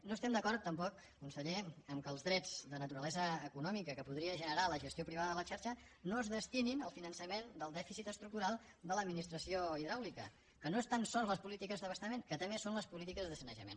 no estem d’acord tampoc conseller amb el fet que els drets de naturalesa econòmica que podria generar la gestió privada de la xarxa no es destinin al finançament del dèficit estructural de l’administració hidràulica que no són tan sols les polítiques d’abastament que també són les polítiques de sanejament